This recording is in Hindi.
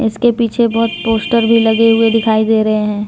इसके पीछे बहोत पोस्टर भी लगे हुए दिखाई दे रहे हैं।